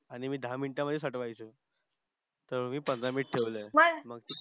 आणि मी दहा मिनिटामध्ये तर मी पंधरा minute ठेवलंय.